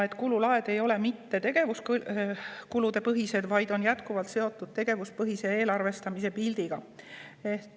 Kululaed ei ole mitte tegevuskulupõhised, vaid on jätkuvalt seotud tegevuspõhise eelarvestamise põhimõttega.